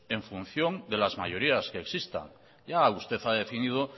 en función de las mayorías que existan ya usted ha definido